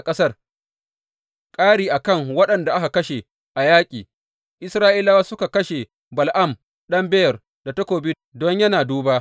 Ƙari a kan waɗanda aka kashe a yaƙi, Isra’ilawa suka kashe Bala’am ɗan Beyor da takobi don yana duba.